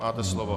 Máte slovo.